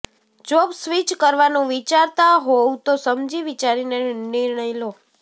job switch કરવાનું વિચારતા હોવ તો સમજી વિચારીને નિર્ણય લો